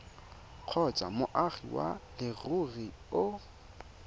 kgotsa moagi wa leruri o